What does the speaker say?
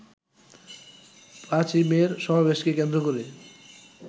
৫ই মের সমাবেশকে কেন্দ্র করে